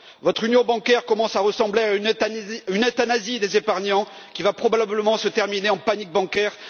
Votre union bancaire commence à ressembler à une euthanasie des épargnants qui va probablement se terminer en panique bancaire.